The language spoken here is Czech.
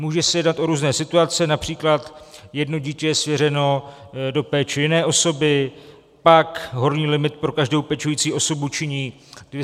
Může se jednat o různé situace, například jedno dítě je svěřeno do péče jiné osoby, pak horní limit pro každou pečující osobu činí 220 tisíc.